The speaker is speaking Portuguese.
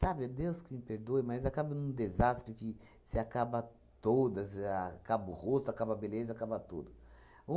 Sabe, é Deus que me perdoe, mas acaba num desastre que se acaba toda, a acaba o rosto, acaba a beleza, acaba tudo.